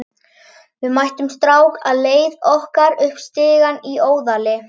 Við mættum strák á leið okkar upp stigann í Óðali.